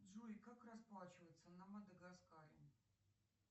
джой как расплачиваться на мадагаскаре